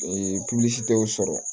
tɛ o sɔrɔ